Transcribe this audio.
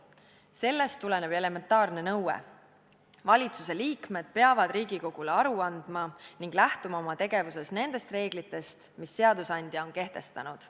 Sellest tuleneb elementaarne nõue: valitsuse liikmed peavad Riigikogule aru andma ning lähtuma oma tegevuses nendest reeglitest, mis seadusandja on kehtestanud.